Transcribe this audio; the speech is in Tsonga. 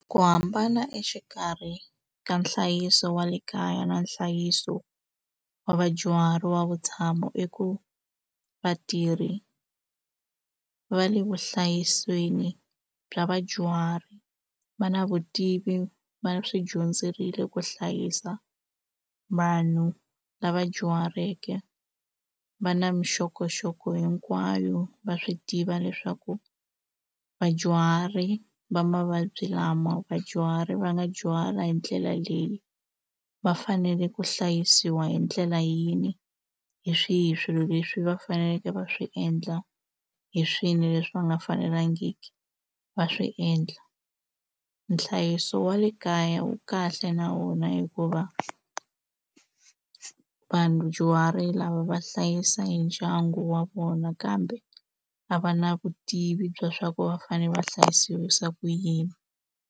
Ku hambana exikarhi ka nhlayiso wa le kaya na nhlayiso wa vadyuhari wa vutshamo i ku vatirhi va le vuhlayisweni bya vadyuhari va na vutivi va swi dyondzerile ku hlayisa vanhu lava dyuhaleke va na mixokoxoko hinkwayo va swi tiva leswaku vadyuhari va mavabyi lama vadyuhari va nga dyuhala hi ndlela leyi va fanele ku hlayisiwa hi ndlela yini hi swihi swilo leswi va faneleke va swi endla hi swilo leswi va nga fanelangiki va swiendla nhlayiso wa le kaya wu kahle na vona hikuva vadyuhari lava va hlayisa hi ndyangu wa vona kambe a va na vutivi bya swa ku va fane va hlayisiwisa ku yini.